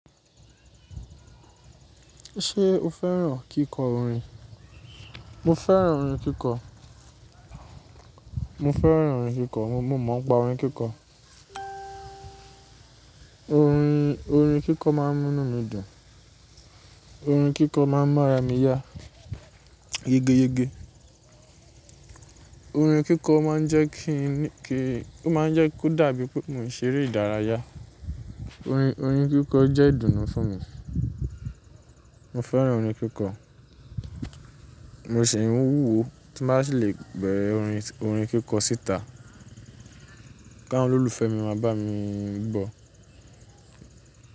Ṣé o fẹ́ràn kíkọ orin? Mo fẹ́ràn orin kíkọ. Mo fẹ́ràn orin kíkọ. Mo, mo máa ń pa orin kíkọ. Orin, orin kíkọ máa ń munumidùn. Orin kíkọ máa ń mára mi yá. Yegeyege. Orin kíkọ máa ń jẹ́ kí n kí-- ó máa ń jẹ́ kó dàbí pé mò ń ṣeré ìdárayá. Orin, orin kíkọ jẹ́ ìdùnnú fún mi. Mo fẹ́ràn orin kíkọ. Mo sì ń wúwo tí màá ṣe le bẹ̀rẹ̀ orin, orin kíkọ síta. Káwọ́n lọ́lùfẹ́ mi máa bá mi gbọ́.